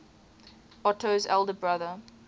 otto's elder brother